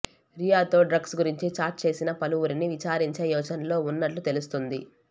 రియాతో drugs గురించి chat చేసిన పలువురిని విచారించే యోచనలో ఉన్నట్లు తెలుస్తోంది